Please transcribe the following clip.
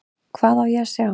Hvað á ég að sjá?